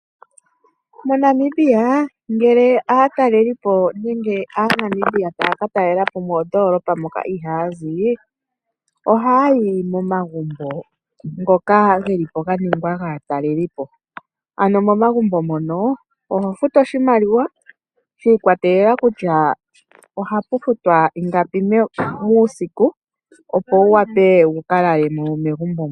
MoNamibia ngele aatalelelipo nenge aaNamibia taya katalelapo moondoolopa moka ihaya zi, ohayi momagumbo ngoka geli po ga ningwa gaatalelipo. Ano momagumbo ngono oho futu oshimaliwa shiikwatelela kutya ohapu futwa ingapi muusiku opo wuwape wuka lale mo megumbo mo.